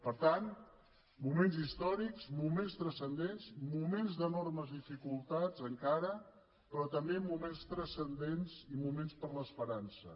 per tant moments històrics moments transcendents moments d’enormes dificultats encara però també moments transcendents i moments per a l’esperança